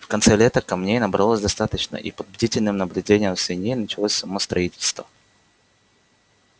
в конце лета камней набралось достаточно и под бдительным наблюдением свиней началось само строительство